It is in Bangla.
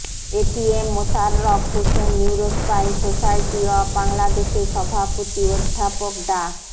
ATM Mosharraf Hossain neurospine society of বাংলাদেশের সভাপতি অধ্যাপক ডা